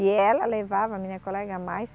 E ela levava, minha colega, mais